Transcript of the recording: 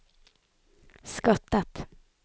skattet